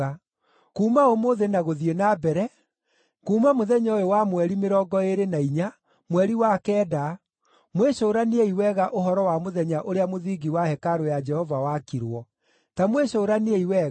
Kuuma ũmũthĩ na gũthiĩ na mbere, kuuma mũthenya ũyũ wa mweri mĩrongo ĩĩrĩ na inya, mweri wa kenda, mwĩcũraniei wega ũhoro wa mũthenya ũrĩa mũthingi wa hekarũ ya Jehova wakirwo. Ta mwĩcũraniei wega: